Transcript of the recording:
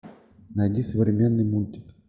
найди современный мультик